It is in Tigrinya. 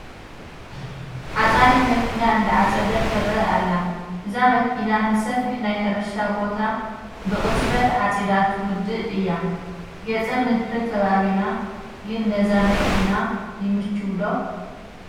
ዓፃኢት መኪና እንዳዓፀደት ትርከ ኣላ፡፡ እዛ መኪና ንሰፊሕ ናይ ሕርሻ ቦታ ብቕፅበት ዓፂዳ ትውድእ እያ፡፡ ገፀ ምድሪ ከባቢና ግን ነዛ መኪና ይምችው ዶ?